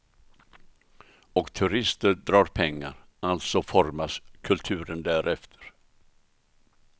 Och turister drar pengar, alltså formas kulturen därefter.